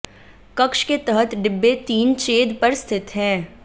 कक्ष के तहत डिब्बे तीन छेद पर स्थित है